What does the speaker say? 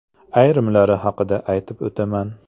Ayrimlari haqida aytib o‘taman.